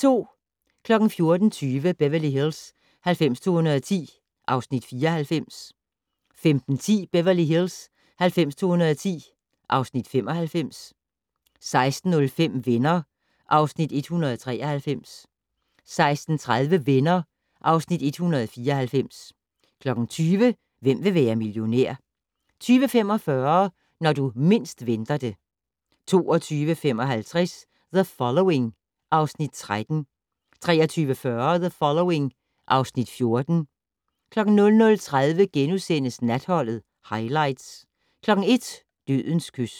14:20: Beverly Hills 90210 (Afs. 94) 15:10: Beverly Hills 90210 (Afs. 95) 16:05: Venner (Afs. 193) 16:30: Venner (Afs. 194) 20:00: Hvem vil være millionær? 20:45: Når du mindst venter det 22:55: The Following (Afs. 13) 23:40: The Following (Afs. 14) 00:30: Natholdet - Highlights * 01:00: Dødens kys